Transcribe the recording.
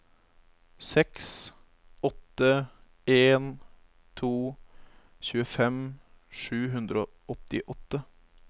seks åtte en to tjuefem sju hundre og åttiåtte